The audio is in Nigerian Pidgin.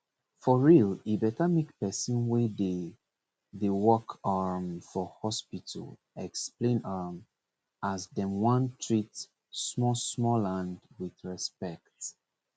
for real he better make person wey dey dey work um for hospital explain um as dem wan treat smallsmalland with respect